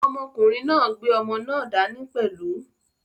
Ọmọkùnrin náà gbé ọmọ náà dání pẹ̀lú.